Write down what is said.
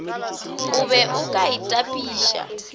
o be o ka itapiša